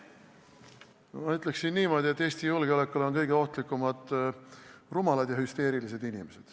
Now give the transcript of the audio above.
Ma ütleksin niimoodi, et Eesti julgeolekule on kõige ohtlikumad rumalad ja hüsteerilised inimesed.